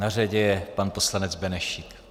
Na řadě je pan poslanec Benešík.